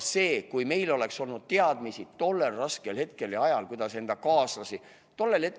Kui meil oleks olnud tollel raskel ajal teadmisi, kuidas enda kaaslasi aidata!